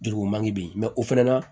Juruko man di yen o fɛnɛ na